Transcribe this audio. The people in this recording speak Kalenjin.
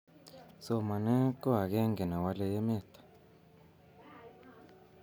somanee ko akenge newale emet